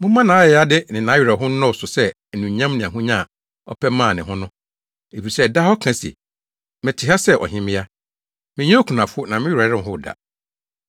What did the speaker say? Momma nʼayayade ne nʼawerɛhow nnɔɔso sɛ anuonyam ne ahonya a ɔpɛ maa ne ho no. Efisɛ daa ɔka se, ‘Mete ha sɛ ɔhemmea; menyɛ okunafo, na me werɛ renhow da!’